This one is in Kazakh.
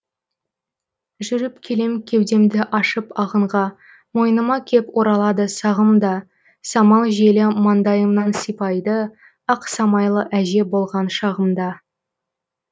жүріп келем кеудемді ашып ағынға мойныма кеп оралады сағым да самал желі маңдайымнан сипайды ақ самайлы әже болған шағымда